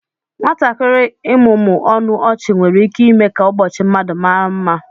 Nwatakịrị ịmụmụ ọnụ ọchị nwere ike ime ka ụbọchị mmadụ mara mma